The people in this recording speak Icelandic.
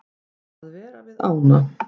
Að vera við ána.